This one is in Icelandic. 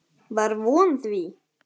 Var vön því.